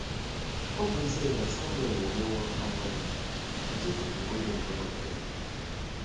Ọ bụ ezie na Samuel emewo agadi, o chefughị oge ntorobịa ya.